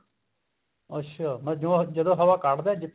ਅੱਛਿਆ ਜਦੋਂ ਹਵਾ ਕੱਢਦਾ